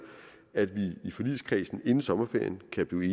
at vi i forligskredsen inden sommerferien kan blive